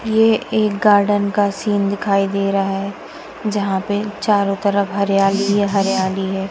यह एक गार्डन का सीन दिखाई दे रहा है जहां पे चारों तरफ हरियाली ही हरियाली है।